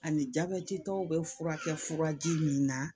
Ani jabɛtitɔw bɛ furakɛ furaji min na